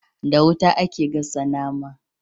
Da wuta ake gasa nama